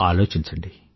ఆలోచించండి